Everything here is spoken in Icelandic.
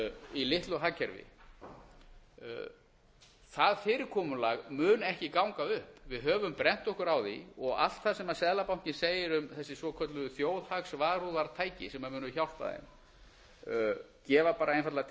í litlu hagkerfi það fyrirkomulag mun ekki ganga upp við höfum brennt okkur á því og allt það sem seðlabankinn segir um þessi svokölluðu þjóðhagsvarúðartæki sem munu hjálpa þeim gefa bara einfaldlega til